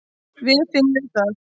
Við finnum það.